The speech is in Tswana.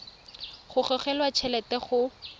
go gogelwa t helete go